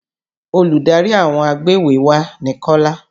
Olùdarí àwọn agbéwèéwá ni Kọ́lá.